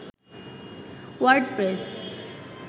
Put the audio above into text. WordPress